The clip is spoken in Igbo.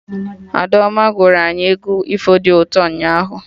Adaoma gụrụ anyị egwu ifo dị ụtọ ụnyaahụ